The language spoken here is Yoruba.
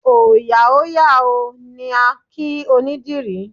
Òòyà ó yà o! ni a kí onídìrí.